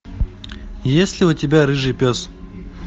есть ли у тебя рыжий пес